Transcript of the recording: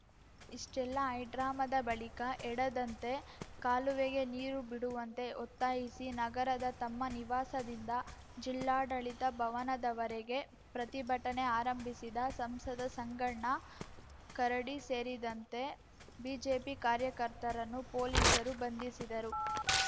ಇಷ್ಟೆಲ್ಲ ಹೈಡ್ರಾಮಾದ ಬಳಿಕ ಎಡದಂತೆ ಕಾಲುವೆಗೆ ನೀರು ಬಿಡುವಂತೆ ಒತ್ತಾಯಿಸಿ ನಗರದ ತಮ್ಮ ನಿವಾಸದಿಂದ ಜಿಲ್ಲಾಡಳಿತ ಭವನದವರೆಗೆ ಪ್ರತಿಭಟನೆ ಆರಂಭಿಸಿದ ಸಂಸದ ಸಂಗಣ್ಣ ಕರಡಿ ಸೇರಿದಂತೆ ಬಿಜೆಪಿ ಕಾರ್ಯಕರ್ತರನ್ನು ಪೊಲೀಸರು ಬಂಧಿಸಿದರು